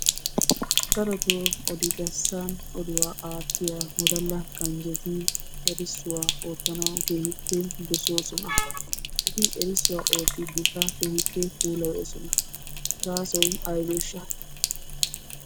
Darotoo odi bessan oduwa aattiya wodala ganjjeti errisuwaa oottanawu keehippe dosoosona. Eti erissuwa oottidikka keehippe puulayoososna. Gaasoy aybeesha?